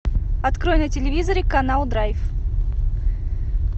открой на телевизоре канал драйв